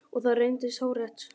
Og það reyndist hárrétt.